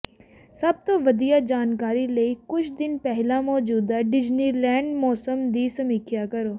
ਸਭ ਤੋਂ ਵਧੀਆ ਜਾਣਕਾਰੀ ਲਈ ਕੁਝ ਦਿਨ ਪਹਿਲਾਂ ਮੌਜੂਦਾ ਡਿਜ਼ਨੀਲੈਂਡ ਮੌਸਮ ਦੀ ਸਮੀਖਿਆ ਕਰੋ